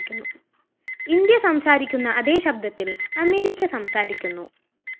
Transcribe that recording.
India സംസാരിക്കുന്ന അതേ ശബ്ദത്തില്‍ അമേരിക്ക സംസാരിക്കുന്നു